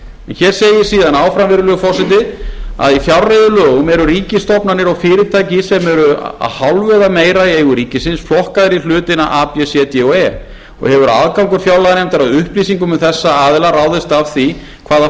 hér segir síðan áfram virðulegi forseti í fjárreiðulögum eru ríkisstofnanir og fyrirtæki sem eru að hálfu eða meira í eigu ríkisins flokkaðar í hluta a b c d og e og hefur aðgangur fjárlaganefndar að upplýsingum um þessa aðila ráðist af því hvaða